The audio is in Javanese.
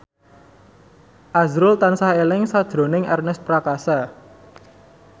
azrul tansah eling sakjroning Ernest Prakasa